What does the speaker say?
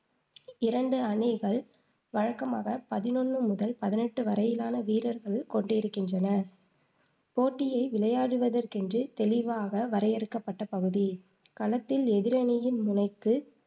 இரண்டு அணிகள் வழக்கமாக பதினொண்ணு முதல் பதினெட்டு வரையிலான வீரர்கள் கொண்டிருக்கின்றன போட்டியை விளையாடுவதற்கென்று தெளிவாக வரையறுக்கப்பட்டப் பகுதி களத்தில் எதிரணியின் முனைக்குப்